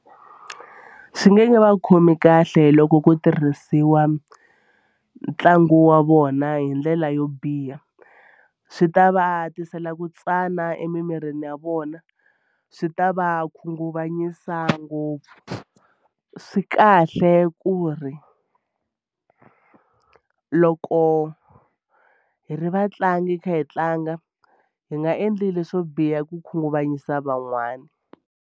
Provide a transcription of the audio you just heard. Swi nge va khomi kahle loko ku tirhisiwa ntlangu wa vona hi ndlela yo biha swi ta va tisela ku tsana emimirini ya vona swi ta va khunguvanyisa ngopfu swi kahle ku ri loko hi ri vatlangi hi kha hi tlanga hi nga endli leswo biha ku khunguvanyisa van'wana.